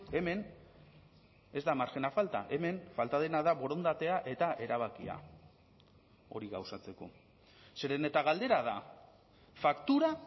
hemen ez da marjina falta hemen falta dena da borondatea eta erabakia hori gauzatzeko zeren eta galdera da faktura